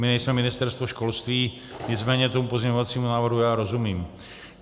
My nejsme Ministerstvo školství, nicméně tomu pozměňovacímu návrhu já rozumím.